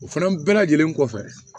O fana bɛɛ lajɛlen kɔfɛ